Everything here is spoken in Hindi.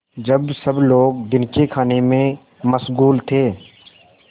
जब सब लोग दिन के खाने में मशगूल थे